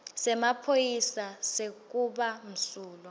semaphoyisa sekuba msulwa